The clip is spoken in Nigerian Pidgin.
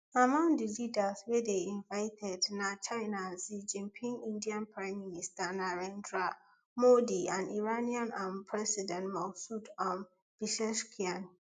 among di leaders wey dey invited na china xi jinping indian prime minister narendra modi and iranian um president masoud um pezeshkian